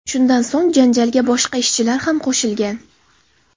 Shundan so‘ng janjalga boshqa ishchilar ham qo‘shilgan.